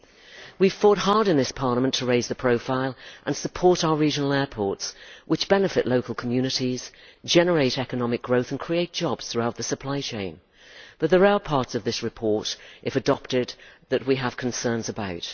However, we fought hard in this Parliament to raise the profile of, and support, our regional airports, which benefit local communities, generate economic growth and create jobs throughout the supply chain, and there are parts of this report which, if adopted, we have concerns about.